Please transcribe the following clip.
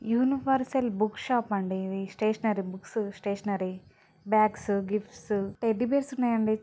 Universal Book షాప్అం డి. ఇధి stationery books stationery bags gifts teddy bears ఉన్నాయి అండి.